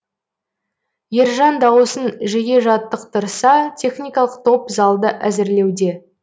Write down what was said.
ержан дауысын жиі жаттықтырса техникалық топ залды әзірлеуде